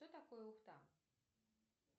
что такое ухта